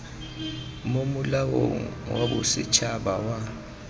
mo molaong wa bosetshaba wa